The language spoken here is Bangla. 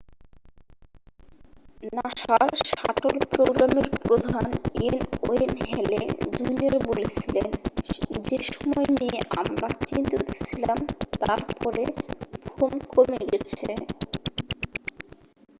"নাসার শাটল প্রোগ্রামের প্রধান এন. ওয়েন হ্যালে জুনিয়র বলেছিলেন "যে সময় নিয়ে আমরা চিন্তিত ছিলাম তার পরে" ফোম কমে গেছে।